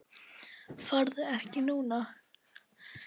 Farðu ekki núna!